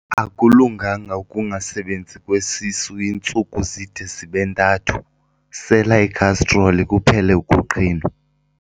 Akulunganga ukungasebenzi kwesisu iintsuku zide zibe ntathu, sela ikhastroli kuphele ukuqhinwa.